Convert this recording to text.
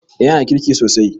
Eh yanada kirki sosai.